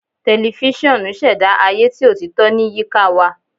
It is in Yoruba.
Tẹlifisiọnu ṣẹda aye ti otito ni ayika wa